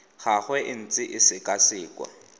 gagwe e ntse e sekwasekwa